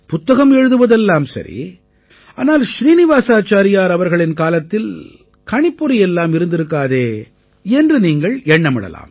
புத்தகம் எழுதுவது எல்லாம் சரி ஆனால் ஸ்ரீநிவாஸாச்சாரியார் அவர்களின் காலத்தில் கணிப்பொறியெல்லாம் இருந்திருக்காதே என்று நீங்கள் எண்ணமிடலாம்